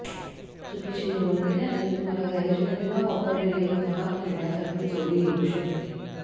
चुकीची निवड केल्याने तुम्हाला गॅरेजमध्ये न वापरलेले एक महाग खेळण्यासारखे जोडी येऊ शकते